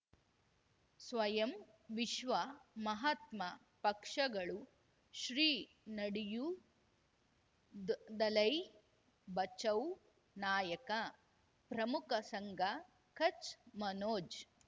ಸ್ವಯಂ ವಿಶ್ವ ಮಹಾತ್ಮ ಪಕ್ಷಗಳು ಶ್ರೀ ನಡೆಯೂ ದ್ ದಲೈ ಬಚೌ ನಾಯಕ ಪ್ರಮುಖ ಸಂಘ ಕಚ್ ಮನೋಜ್